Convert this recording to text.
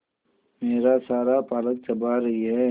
मेरा सारा पालक चबा रही है